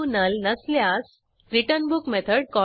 परीक्षा उत्तीर्ण होणा या विद्यार्थ्यांना प्रमाणपत्रही दिले जाते